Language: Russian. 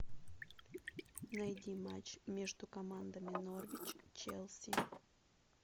найди матч между командами норвич челси